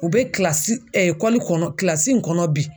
U be kilasi kɔnɔ kilasi in kɔnɔ bi